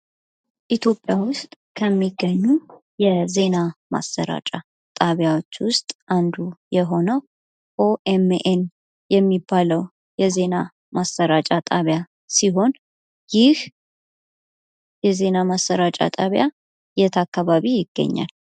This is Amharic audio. "ኢትዮጵያ ውስጥ ከሚገኙ የዜና ማሰራጫ ጣቢያዎች ውስጥ አንዱ የሆነው ኦ.ኤም.ኤን የሚባለው የዜና ማሰራጫ ጣቢያ ሲሆን፤ ይህ የዜና ማሰራጫ ጣቢያ የት አካባቢ ይገኛል?"